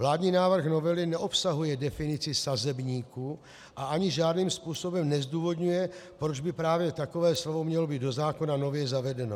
Vládní návrh novely neobsahuje definici sazebníku a ani žádným způsobem nezdůvodňuje, proč by právě takové slovo mělo být do zákona nově zavedeno.